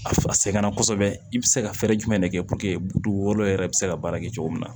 A sɛgɛnna kosɛbɛ i bɛ se ka fɛɛrɛ jumɛn de kɛ dugukolo yɛrɛ bɛ se ka baara kɛ cogo min na